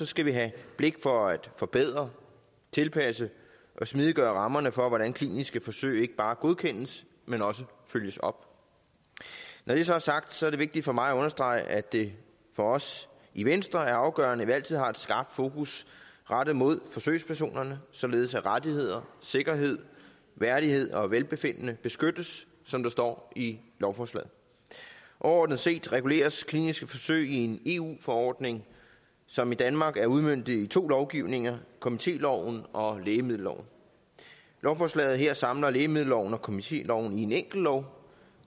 skal vi have blik for at forbedre tilpasse og smidiggøre rammerne for hvordan kliniske forsøg ikke bare godkendes men også følges op når det så er sagt er det vigtigt for mig at understrege at det for os i venstre er afgørende at vi altid har et skarpt fokus rettet mod forsøgspersonerne således at rettigheder sikkerhed værdighed og velbefindende beskyttes som der står i lovforslaget overordnet set reguleres kliniske forsøg i en eu forordning som i danmark er udmøntet i to lovgivninger komitéloven og lægemiddelloven lovforslaget her samler lægemiddelloven og komitéloven i en enkelt lov